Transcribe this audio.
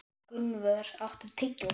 Gunnvör, áttu tyggjó?